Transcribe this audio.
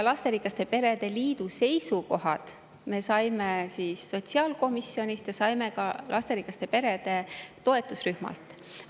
Lasterikaste perede liidu seisukohad me saime sotsiaalkomisjonist ja saime ka lasterikaste perede toetusrühmalt.